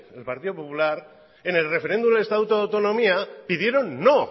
en el partido popular en el referendum del estatuto de autonomía pidieron no